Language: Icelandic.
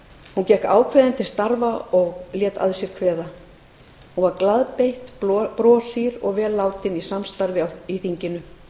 hún gekk ákveðin til starfa og lét að sér kveða hún var glaðbeitt broshýr og vel látin í samstarfi í þinginu